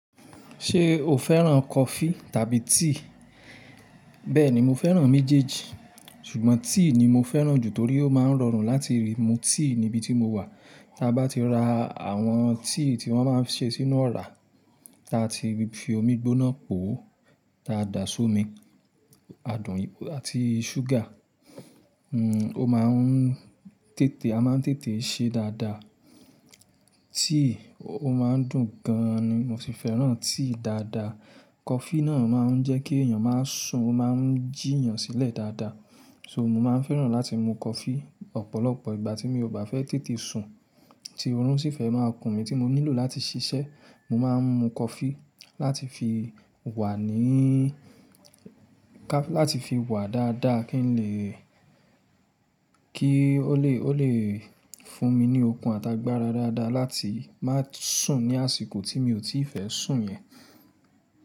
Ṣé o fẹ́ràn coffee tàbí tea? Bẹ́ẹ̀ni, mo fẹ́ràn méjèèjì ṣùgbọ́n tea ni mo fẹ́ràn jù torí ó máa ń rọrùn láti rí mu tea níbi tí mo wà. Ta bá ti ra àwọn tea tí wọ́n máa ń ṣe sínú ọ̀rá, ta ti fi omi gbóná pò, ta dà somi, adùn àti sugar. O máa ń tètè, a máa ń tètè ṣe dáadáa. Tea o máa ń dùn gan ni mo sì fẹ́ràn tea dáadáa. Coffee náà máa ń jẹ́ kí èèyàn máa sùn, ó máa ń jí èèyàn sílẹ̀ dáadáa. So mo máa ń fẹ́ràn láti mu coffee ọ̀pọ̀lọpọ̀ ìgbà tí mi ò bá fẹ́ tètè sùn tí orun sì fẹ́ máa kun mi tí mo nílò láti ṣiṣẹ́. Mo máa ń mu coffee láti fi wà níí, láti fi wà dáadáa kí n lè, kí ó lè, ó lè fún mi ní okun àtàgbàra dáadáa láti má sùn ní àsìkò tí mi ò tíì fẹ́ sùn yẹn.